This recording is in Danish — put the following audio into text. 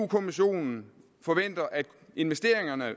kommissionen forventer at investeringerne